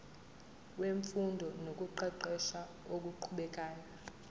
wemfundo nokuqeqesha okuqhubekayo